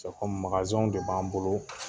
de b'an bolo